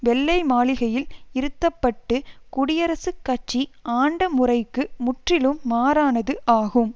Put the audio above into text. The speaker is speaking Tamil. வெள்ளை மாளிகையில் இருத்தப்பட்டு குடியரசுக் கட்சி ஆண்ட முறைக்கு முற்றிலும் மாறானது ஆகும்